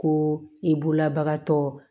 Ko i bolobagatɔ